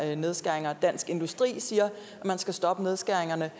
her nedskæringer og dansk industri siger at man skal stoppe nedskæringerne